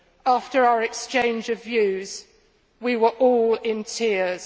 After our exchange of views, we were all in tears.